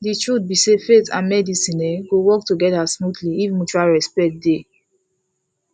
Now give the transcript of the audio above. the truth be sayfaith and medicine um go work together smoothly if mutual respect dey